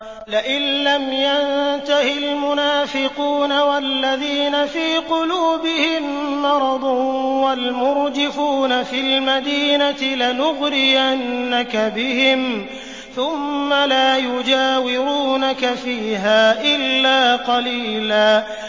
۞ لَّئِن لَّمْ يَنتَهِ الْمُنَافِقُونَ وَالَّذِينَ فِي قُلُوبِهِم مَّرَضٌ وَالْمُرْجِفُونَ فِي الْمَدِينَةِ لَنُغْرِيَنَّكَ بِهِمْ ثُمَّ لَا يُجَاوِرُونَكَ فِيهَا إِلَّا قَلِيلًا